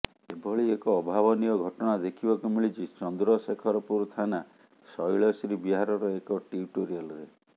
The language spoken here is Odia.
ଏଭଳି ଏକ ଅଭାବନୀୟ ଘଟଣା ଦେଖିବାକୁ ମିଳିଛି ଚନ୍ଦ୍ରଶେଖରପୁର ଥାନା ଶୈଳଶ୍ରୀ ବିହାରର ଏକ ଟ୍ୟୁଟୋରିଆଲରେ